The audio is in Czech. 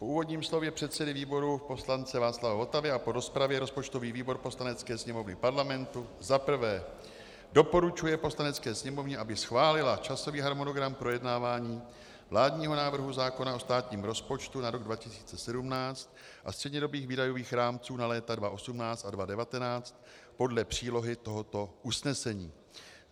Po úvodním slově předsedy výboru poslance Václava Votavy a po rozpravě rozpočtový výbor Poslanecké sněmovny Parlamentu za prvé doporučuje Poslanecké sněmovně, aby schválila časový harmonogram projednávání vládního návrhu zákona o státním rozpočtu na rok 2017 a střednědobých výdajových rámců na léta 2018 a 2019 podle přílohy tohoto usnesení;